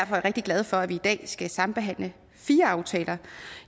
rigtig glad for at vi i dag skal sambehandle fire aftaler